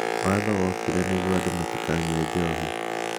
Watho wokire nĩ guo andũ matikanyue njohi